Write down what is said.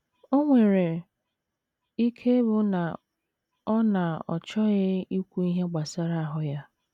O nwere ike ịbụ na ọ na ọ chọghị ikwu ihe gbasara ahụ́ ya.